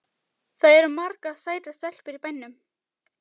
Það eru margar sætar stelpur í bænum.